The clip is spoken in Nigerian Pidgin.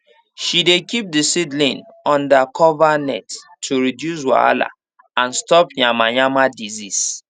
she dey keep the seedlings under cover net to reduce wahala and stop yamayama disease